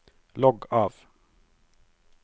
logg av